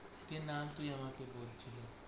কে নাম তুই আমাকে বলছিস